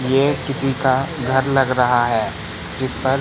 ये किसी का घर लग रहा है जिस पर--